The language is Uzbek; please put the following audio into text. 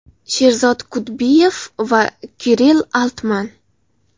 Sherzod Kudbiyev va Kirill Altman.